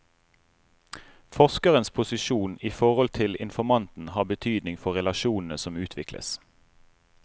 Forskerens posisjon i forhold til informanten har betydning for relasjonene som utvikles.